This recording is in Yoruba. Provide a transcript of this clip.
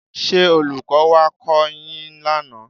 Ṣé Olùkọ́ wá kọ́ ọ yín lánàá?